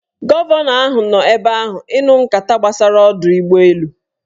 Gọvanọ ahụ nọ ebe ahụ ịnụ nkata gbasara ọdọụgbọelu